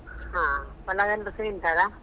ಹಾ, ಪಲಾವ್ ಎಲ್ಲಾರ್ಸಾ ತಿಂತಾರಾ?